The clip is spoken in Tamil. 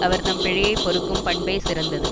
அவர்தம் பிழையைப் பொறுக்கும் பண்பே சிறந்தது